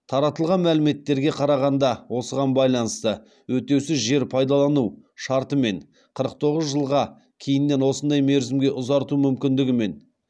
таратылған мәліметтерге қарағанда осыған байланысты өтеусіз жер пайдалану шартымен қырық тоғыз жылға кейіннен осындай мерзімге ұзарту мүмкіндігімен